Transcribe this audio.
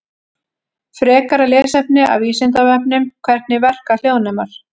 Frekara lesefni af Vísindavefnum: Hvernig verka hljóðnemar?